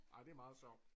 Ej det meget sjov